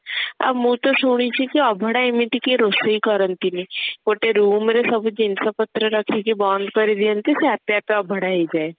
ଆଉ ମୁଁ ତ ଶୁଣିଛି କି ଅଭଡା ଏମିତି କେଇ ରୋଷେଇ କରନ୍ତି ନି ଗୋଟେ room ରେ ସବୁ ଜିନିଷ ପତ୍ର ରଖିକି ବନ୍ଦ କରି ଦିଅନ୍ତି ସେ ଆପେ ଆପେ ଅଭଡା ହେଇ ଯାଏ